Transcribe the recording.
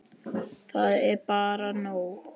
Það er bara nóg.